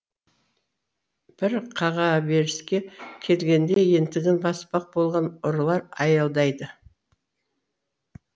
бір қағаберіске келгенде ентігін баспақ болған ұрылар аялдайды